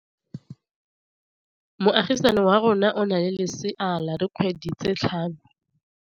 Moagisane wa rona o na le lesea la dikgwedi tse tlhano.